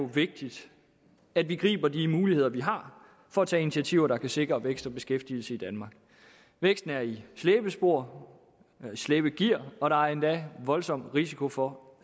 vigtigt at vi griber de muligheder vi har for at tage initiativer der kan sikre vækst og beskæftigelse i danmark væksten er i slæbespor slæbegear og der er endda en voldsom risiko for